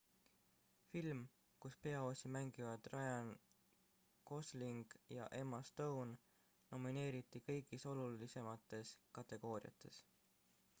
film kus peaosi mängivad ryan gosling ja emma stone nomineeriti kõigis olulisemates kategooriates